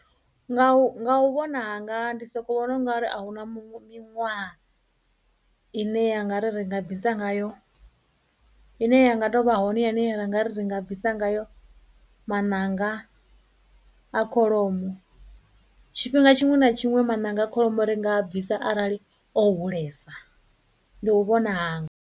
Nga u nga u vhona hanga ndi soko vhona ungari a hu na miṅwaha i ne ya nga ri ri nga bvisa ngayo, i ne ya nga tou vha hone ya ra nga ri ri nga bvisa ngayo maṋanga a kholomo, tshifhinga tshiṅwe na tshiṅwe maṋanga a kholomo ri nga a bvisa arali o hulesa, ndi u vhona hanga.